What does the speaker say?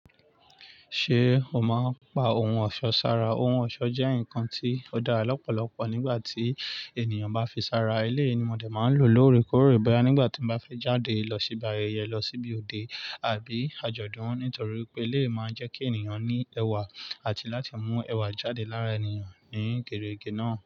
Ṣé o máa ń pa ohun ọ̀ṣọ́ sára? Ohun ọ̀ṣọ́ jẹ́ nǹkan tí ó dára lọ́pọ̀lọpọ̀ nígbà tí ènìyàn bá fi sára. Eléyi ni mo dé máa ń lò lóore kóòré bẹ́ẹ nígbà tí mo bá fẹ́ jáde lọ síbi ayẹyẹ, lọ síbi òde àbí àjọ̀dún. Nítorí pé ilé máa ń jẹ́ kí ènìyàn ní ẹwà àti láti mú ẹwà jáde lára ènìyàn ní ìkéreke náà.